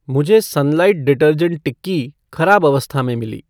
मुझे Sunlight detergent टिक्की खराब अवस्था में मिली